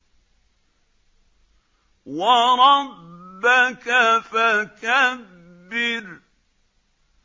وَرَبَّكَ فَكَبِّرْ